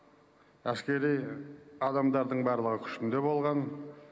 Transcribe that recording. әскери адамдардың барлығы күшінде болған